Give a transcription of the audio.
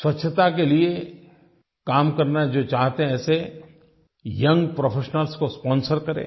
स्वच्छता के लिये काम करना जो चाहते हैं ऐसे यंग प्रोफेशनल्स को स्पॉन्सर करें